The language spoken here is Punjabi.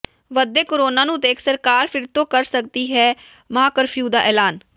ਵਧਦੇ ਕੋਰੋਨਾ ਨੂੰ ਦੇਖ ਸਰਕਾਰ ਫਿਰ ਤੋਂ ਕਰ ਸਕਦੀ ਐ ਮਹਾਂਕਰਫਿਊ ਦਾ ਐਲਾਨ